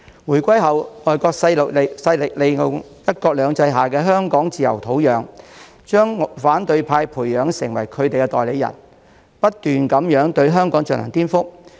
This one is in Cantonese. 回歸後，外國勢力利用"一國兩制"下香港自由的土壤，將反對派培養成為他們的代理人，不斷對香港進行顛覆。